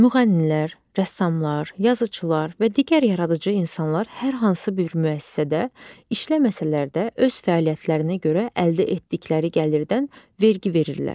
Müğənnilər, rəssamlar, yazıçılar və digər yaradıcı insanlar hər hansı bir müəssisədə işləməsələr də öz fəaliyyətlərinə görə əldə etdikləri gəlirdən vergi verirlər.